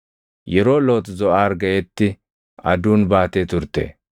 Yeroo Loox Zoʼaar gaʼetti aduun baatee turte.